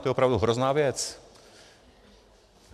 To je opravdu hrozná věc.